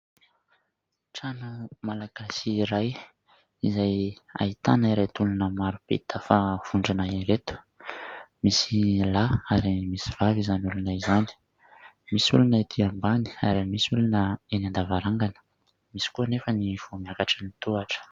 Trano malagasy iray izay ahitana ireto olona maro be tafavondrona ireto, misy lahy ary misy vavy izany olona izany. Misy olona etỳ ambany ary misy olona eny an-davarangana, misy koa anefa ny vao miakatra ny tohatra.